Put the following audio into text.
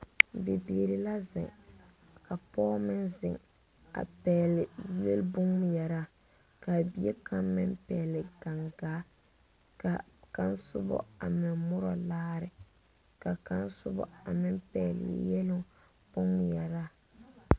Bibiiri la zeŋ ka pɔg meŋ zeŋ a pɛgle yele bonŋmeɛraa k,a bie kaŋ meŋ pɛgle gaŋgaa ka kaŋ soba a meŋ morɔ laare ka kaŋ soba a meŋ pɛgle yeluŋ bonŋmeɛraa.